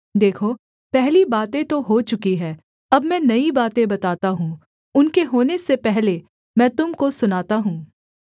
देखो पहली बातें तो हो चुकी है अब मैं नई बातें बताता हूँ उनके होने से पहले मैं तुम को सुनाता हूँ